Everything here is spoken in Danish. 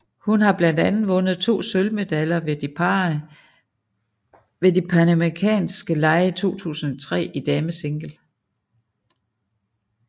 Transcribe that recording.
Hun har blandt andet vundet to sølvmedaljer ved de panamerikanske lege 2003 i damesingle